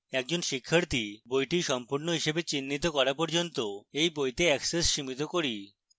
একজন শিক্ষার্থী বইটি সম্পূর্ণ হিসাবে চিহ্নিত করা পর্যন্ত এই বইতে access সীমিত করি